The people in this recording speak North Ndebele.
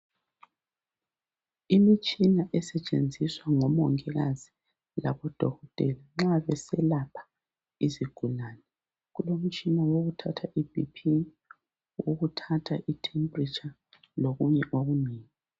Imitshina esetshenziswa ngomongikazi labodokotela nxa besalapha izigulane: Kulomtshina wokuthatha ibhiphi, owokuthatha ithempretsha lokunye okunengi.